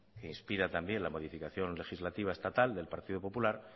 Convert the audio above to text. que inspira también la modificación legislativa estatal del partido popular